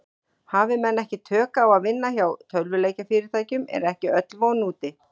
Hafi menn ekki tök á að vinna hjá tölvuleikjafyrirtækjum er ekki öll von úti.